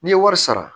N'i ye wari sara